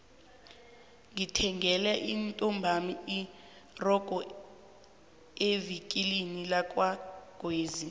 ngithengele intombami irogo evikilini lakwagwezi